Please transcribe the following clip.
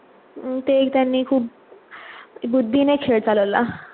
अं ते ही त्यांनी खूप बुद्धीने खेळ चालवला.